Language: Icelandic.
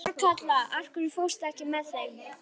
Þorkatla, ekki fórstu með þeim?